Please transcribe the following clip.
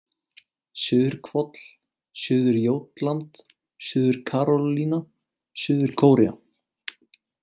Suður-Hvoll, Suður-Jótland, Suður-Karólína, Suður-Kórea